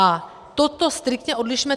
A toto striktně odlišme.